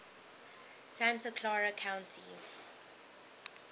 santa clara county